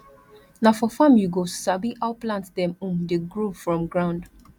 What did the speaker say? na for farm you go sabi how plant dem um dey grow from ground